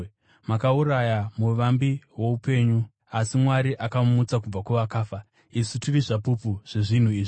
Makauraya muvambi woupenyu, asi Mwari akamumutsa kubva kuvakafa. Isu tiri zvapupu zvezvinhu izvi.